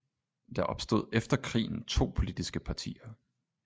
Der opstod efter krigen to politiske partier